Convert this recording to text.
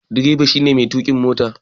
Direba shi ne Mai tuka mota.